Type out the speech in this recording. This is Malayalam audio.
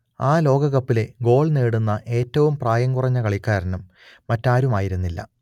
ആ ലോകകപ്പിലെ ഗോൾ നേടുന്ന ഏറ്റവും പ്രായം കുറഞ്ഞ കളിക്കാരനും മറ്റാരുമായിരുന്നില്ല